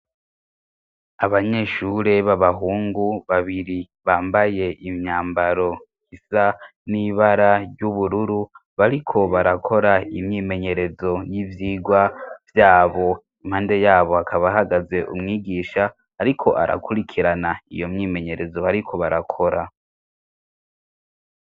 Abanyeshure b'abahungu babiri bambaye imyambaro isa n'ibara ry'ubururu bariko barakora imyimenyerezo y'ivyirwa vyabo impande yabo akabahagaze umwigisha, ariko arakurikirana iyo myimenyerezo, bariko barakora.